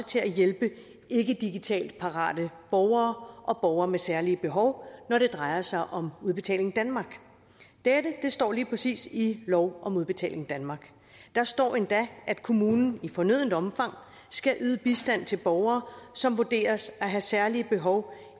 til at hjælpe ikke digitalt parate borgere og borgere med særlige behov når det drejer sig om udbetaling danmark det står lige præcis i lov om udbetaling danmark der står endda at kommunen i fornødent omfang skal yde bistand til borgere som vurderes at have særlige behov